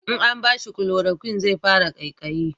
in an bashi kuloroquin zai fara kaikayi